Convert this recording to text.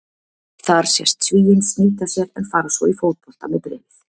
Þar sést Svíinn snýta sér en fara svo í fótbolta með bréfið.